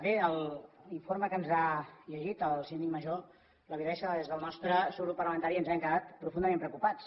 bé l’informe que ens ha llegit el síndic major la veritat és que des del nostre subgrup parlamentari ens hem quedat profundament preocupats